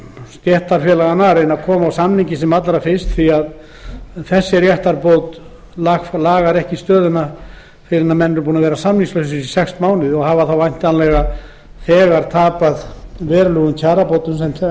stéttarfélaga að reyna að koma á samningi sem allra fyrst réttarbótin lagar ekki stöðuna fyrr en menn eru búnir að vera samningslausir í sex mánuði og hafa þá þegar farið á mis við verulegar kjarabætur